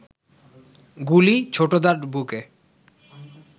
গুলি ছোটদার বুকে